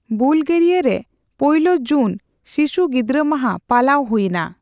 ᱵᱩᱞᱜᱮᱨᱤᱭᱟ ᱨᱮ ᱯᱳᱭᱞᱳ ᱡᱩᱱ ᱥᱤᱥᱩ ᱜᱤᱫᱽᱨᱟ ᱢᱟᱦᱟ ᱯᱟᱞᱟᱣ ᱦᱩᱭᱱᱟ ᱾